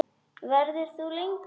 Verður þú lengi?